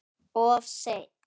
Of seint